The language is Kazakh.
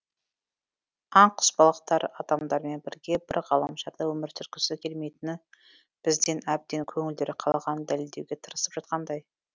аң құс балықтар адамдармен бірге бір ғаламшарда өмір сүргісі келмейтінін бізден әбден көңілдері қалғанын дәлелдеуге тырысып жатқандай